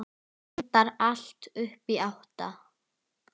Reyndar allt upp í átta.